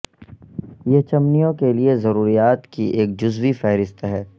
یہ چمنیوں کے لئے ضروریات کی ایک جزوی فہرست ہے